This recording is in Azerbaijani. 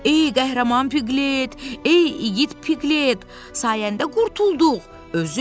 Ey qəhrəman Piqlet, ey igid Piqlet, sayəndə qurtulduq.